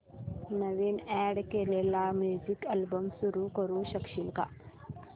नवीन add केलेला music album सुरू करू शकशील का